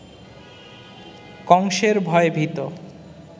কংসের ভয়ে ভীত